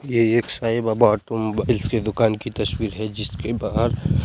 ये एक Sai Baba automobiles की दुकान की तस्वीर है जिसके बाहर --